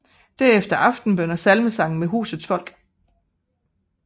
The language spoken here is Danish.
Derefter aftenbøn og salmesang med husets folk